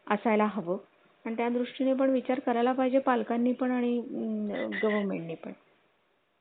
असाय ला हवं आणि त्या दृष्टीने पण विचार करायला पाहिजे पालकांनी पण आणि government पण